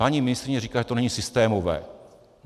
Paní ministryně říká, že to není systémové.